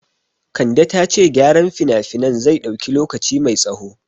Kande ta ce gyaran finafinan zai dauki lokaci mai tsaho